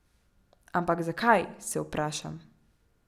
Ampak zakaj, se vprašam.